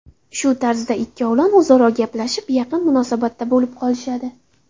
Shu tarzda ikkovlon o‘zaro gaplashib, yaqin munosabatda bo‘lib qolishadi.